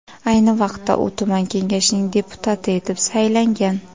Ayni vaqtda u tuman kengashining deputati etib saylangan.